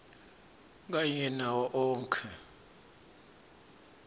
kanye nawo onkhe